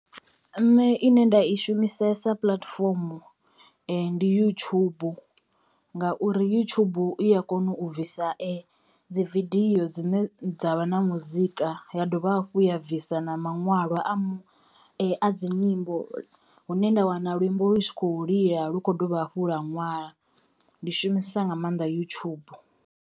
Nṋe ine nda i shumisesa puḽatifomo ndi youtube ngauri youtube i ya kona u bvisa dzi vidio dzine dza vha na muzika ya dovha hafhu ya bvisa na maṅwalwa a a dzi nyimbo hu ne nda wana luimbo lu tshi kho lila lu kho dovha hafhu ḽa ṅwala ndi shumisesa nga maanḓa yutshubu.